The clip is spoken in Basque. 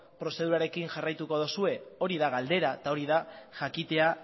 prozedurarekin jarraituko dozue hori da galdera eta jakitea